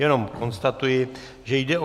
Jenom konstatuji, že jde o